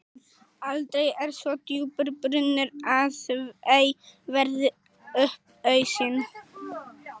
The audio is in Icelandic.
Aldrei er svo djúpur brunnur að ei verði upp ausinn.